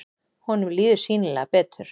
Honum líður sýnilega betur.